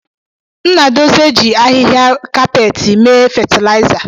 Nnadozie ji ahịhịa kapeti mee fatịlaịza.